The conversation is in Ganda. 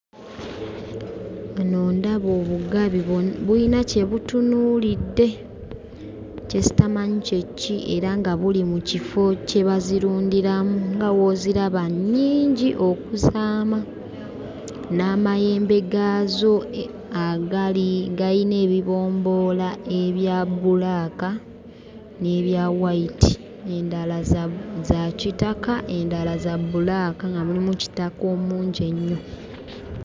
Wano ndaba obugabi bulina kye butunuulidde kye sitamanyi kye ki era nga buli mu kifo kye bazirundiramu, nga w'oziraba nnyingi okuzaama! N'amayembe gaazo agali gayina ebibomboola ebya bbulaaka ne bya wayiti; endala za kitaka, endala za bbulaaka nga mulimu kitaka omungi ennyo.